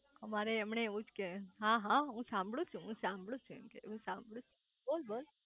અમારે એમને એવુજ કે હા હા હું સાંભળું છુ હું સાંભળું છુ એમ કે હું સાંભળું છુ બોલ બોલ